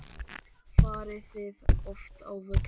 Farið þið oft á völlinn?